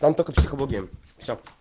там только психология всё